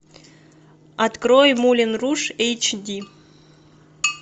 открой мулен руж эйч ди